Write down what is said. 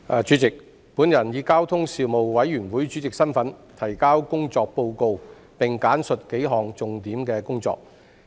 主席，我以交通事務委員會主席身份，提交工作報告，並簡述幾項重點工作。